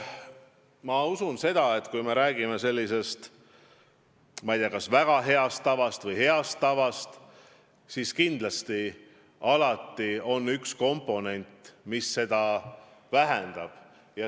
Ma usun, et kui me räägime väga heast või heast tavast, siis kindlasti alati on üks komponent, mis seda headust vähendab.